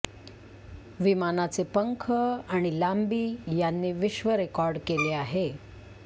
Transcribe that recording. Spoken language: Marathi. विमानाचे पंख आणि लांबी यांनी विश्वरेकॉर्ड केले आहे